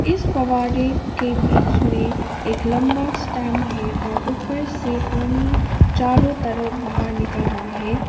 इस फव्वारे के बीच में एक लंबा स्तंभ है और ऊपर से पानी चारों तरफ बाहर निकल रहा है।